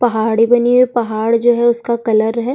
पहाड़ी बनी हैं पहाड़ जो हैं उसका कलर हैं।